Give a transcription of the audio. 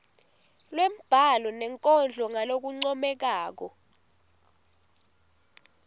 lwembhalo nenkondlo ngalokuncomekako